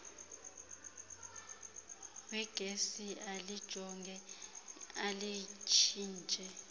wegesi alijonge alitshintshe